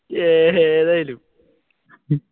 ഏ ഏതായാലും